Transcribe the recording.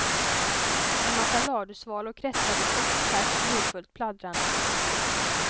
En massa ladusvalor kretsade kors och tvärs livfullt pladdrande. punkt